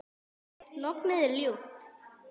Lognið er ljúft.